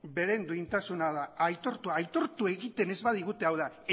beren duintasuna aitortu egiten ez badigute hau da